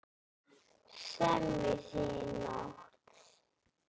Semjið þið í nótt?